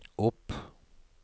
opp